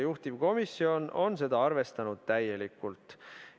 Juhtivkomisjon on seda täielikult arvestanud.